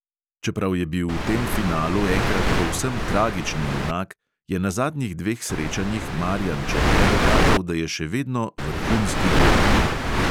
Čeprav je bil v tem finalu enkrat povsem tragični junak, je na zadnjih dveh srečanjih marijan černe dokazal, da je še vedno vrhunski golman.